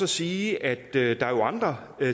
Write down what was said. sige at der jo er andre